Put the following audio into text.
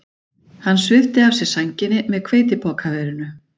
Hann svipti af sér sænginni með hveitipokaverinu